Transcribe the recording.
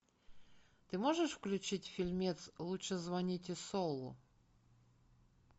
ты можешь включить фильмец лучше звоните солу